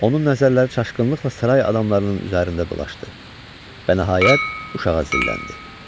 Onun nəzərləri çaşqınlıqla saray adamlarının üzərində dolaşdı və nəhayət, uşağa zilləndi.